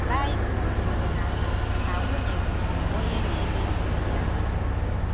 Baịbụl kwuru na na nwunye bụ “onye na-emeju di ya.